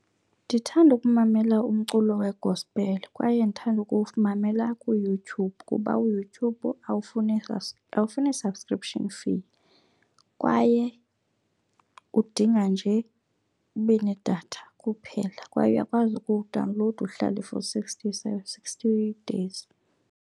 Ndithanda ukumamela umculo wegospele kwaye ndithanda ukuwumamela kuYouTube kuba uYouTube awufuni subscription fee. Kwaye udinga nje ube nedatha kuphela kwaye uyakwazi ukuwudawunlowuda uhlale for sixty days.